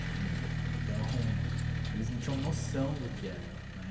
Então, eles não tinham noção do que era, né.